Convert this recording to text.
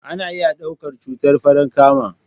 Ana iya ɗaukar cutar Farankama